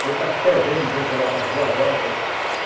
Quando está fervendo de gente lá para as duas horas.